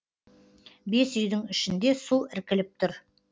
бес үйдің ішінде су іркіліп тұр